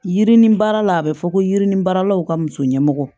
Yirini baara la a bɛ fɔ ko yirinin baaralaw ka muso ɲɛmɔgɔ